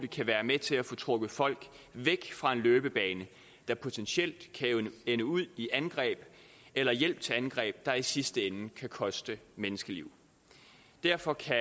kan være med til at få trukket folk væk fra en løbebane der potentielt kan ende ud i angreb eller hjælp til angreb der i sidste ende kan koste menneskeliv derfor kan